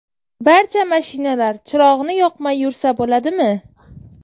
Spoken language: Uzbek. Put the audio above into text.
Barcha mashinalar chirog‘ini yoqmay yursa bo‘ladimi?